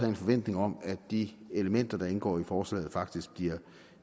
en forventning om at de elementer der indgår i forslaget faktisk bliver